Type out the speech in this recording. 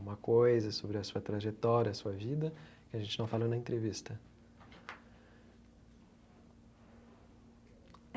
Uma coisa sobre a sua trajetória, a sua vida, que a gente não falou na entrevista.